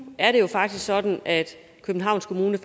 er det jo faktisk sådan at københavns kommune